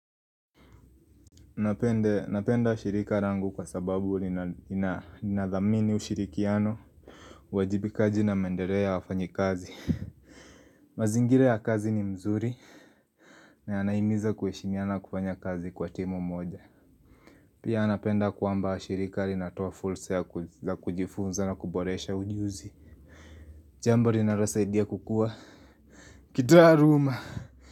Napenda ushirika langu kwa sababu linadhamini ushirikiano wajibikaji na mendeleo ya wafanyi kazi mazingila ya kazi ni mzuri na anaimiza kuhishimiana kufanya kazi kwa timu moja Pia napenda kwamba shilika linatoa fulsa ya kujifunza na kuboresha ujuzi Jamb linalosaidia kukua Kitaruma.